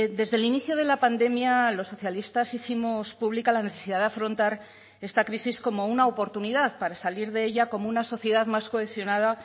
desde el inicio de la pandemia los socialistas hicimos pública la necesidad de afrontar esta crisis como una oportunidad para salir de ella como una sociedad más cohesionada